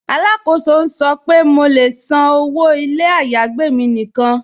Alákóso n sọ̀ pe mó lè ṣán ọwọ́ ilẹ̀ ayágbẹ̀ mi níkan.